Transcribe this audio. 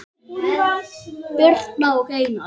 Birna og Einar.